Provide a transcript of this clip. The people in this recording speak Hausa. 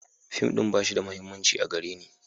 Fim ɗin ba shi da mahimmanci a gare ni.